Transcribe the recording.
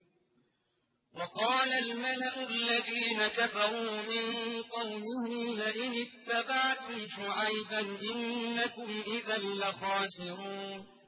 وَقَالَ الْمَلَأُ الَّذِينَ كَفَرُوا مِن قَوْمِهِ لَئِنِ اتَّبَعْتُمْ شُعَيْبًا إِنَّكُمْ إِذًا لَّخَاسِرُونَ